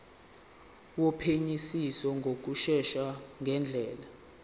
wophenyisiso ngokushesha ngendlela